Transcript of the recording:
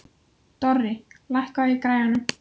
Dorri, lækkaðu í græjunum.